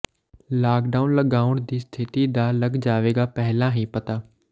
lockdown ਲਗਾਉਣ ਦੀ ਸਥਿਤੀ ਦਾ ਲੱਗ ਜਾਵੇਗਾ ਪਹਿਲਾਂ ਹੀ ਪਤਾ